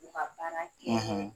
U ka baara